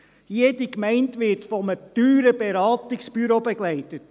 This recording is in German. Jede Gemeinde wird von einem teuren Beratungsbüro begleitet;